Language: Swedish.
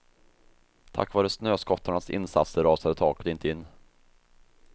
Tack vare snöskottarnas insatser rasade taket inte in.